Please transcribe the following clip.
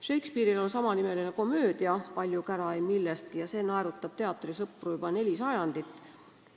Shakespeare'il on samanimeline komöödia "Palju kära ei millestki" ja see on naerutanud teatrisõpru juba neli sajandit.